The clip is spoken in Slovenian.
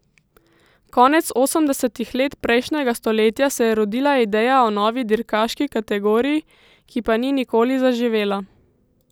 Konec osemdesetih let prejšnjega stoletja se je rodila ideja o novi dirkaški kategoriji, ki pa ni nikoli zaživela.